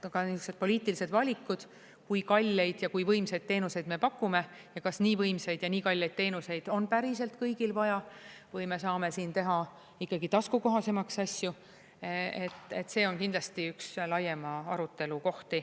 Aga niisugused poliitilised valikud, kui kalleid ja kui võimsaid teenuseid me pakume ja kas nii võimsaid ja nii kalleid teenuseid on päriselt kõigil vaja või me saame siin teha ikkagi taskukohasemaks asju, see on kindlasti üks laiema arutelu koht.